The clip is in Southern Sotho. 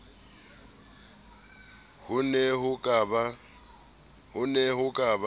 ho ne ho ka ba